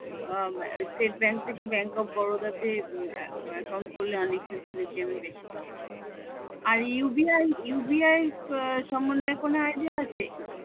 state bank থেকে bank of Baroda তে account করলে অনেক facility আমি বেশি পাবো আর UBI UBI সম্বন্ধে কোনো idea আছে